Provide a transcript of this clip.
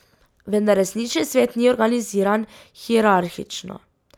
Vendar resnični svet ni organiziran hierarhično.